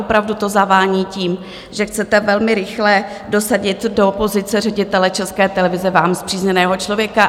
Opravdu to zavání tím, že chcete velmi rychle dosadit do pozice ředitele České televize vám spřízněného člověka.